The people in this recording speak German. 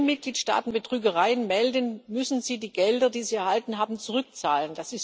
Wenn Mitgliedstaaten Betrügereien melden, müssen sie die Gelder, die sie erhalten haben, zurückzahlen.